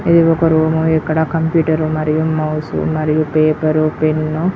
ఇదొక రూమ్ . ఇక్కడ కంప్యూటర్ మరియు మౌస్ మరియు పేపర్ పెన్--